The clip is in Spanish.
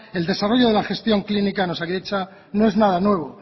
el desarrollo de la gestión clínica en osakidetza no es nada nuevo